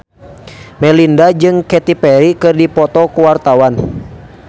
Melinda jeung Katy Perry keur dipoto ku wartawan